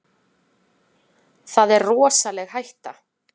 Það er rosaleg hætta.